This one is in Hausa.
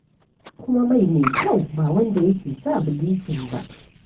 Kuma mai me kyau ba wanda yake sa bilicin ba.